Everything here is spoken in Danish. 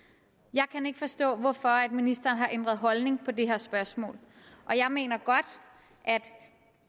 jeg kan ikke forstå hvorfor ministeren har ændret holdning til det her spørgsmål jeg mener godt at